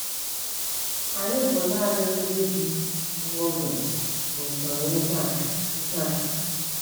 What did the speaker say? Anyị bụ naanị “ndị bi nwa oge” n’usoro ihe a. ihe a.